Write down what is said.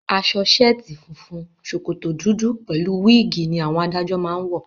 Aṣọ ṣẹ̀ẹ́tì funfun, ṣòkòtò dúdú pẹ̀lú wíìgì ni àwọn adájọ́ máá ń wọ